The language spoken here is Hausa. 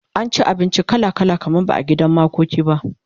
an ci abinci kala kala kamar ba gidan makoki ba